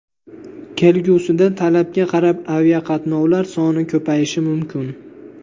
Kelgusida talabga qarab aviqatnovlar soni ko‘payishi mumkin.